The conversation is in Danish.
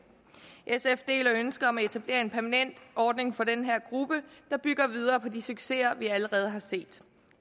sf deler ønsket om at etablere en permanent ordning for den her gruppe der bygger videre på de succeser vi allerede har set